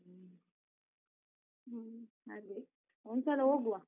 ಹ್ಮ್ ಹ್ಮ್, ಅದೆ ಒಂದ್ಸಲ ಹೋಗುವ.